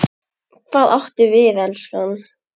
Hvað áttu við, elskan?